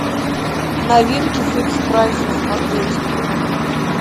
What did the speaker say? новинки фикс прайса смотреть